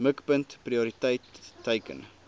mikpunt prioriteit teiken